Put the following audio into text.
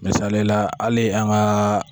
Misaliyala hali an ga